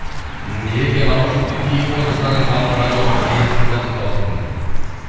ыыы ереке наушникті киіп отырсаңыз жалпы радиоға жай естіліп жатыр дауысыңыз дейді